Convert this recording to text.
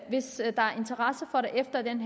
sådan